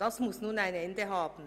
Das muss nun ein Ende haben.